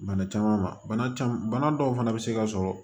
Bana caman ma bana caman bana dɔw fana bɛ se ka sɔrɔ